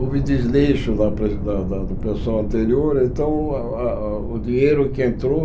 Houve desleixo da da do pessoal anterior, então a a o dinheiro que entrou